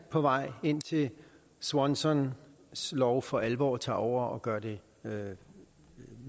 på vej indtil swansons lov for alvor tager over og gør det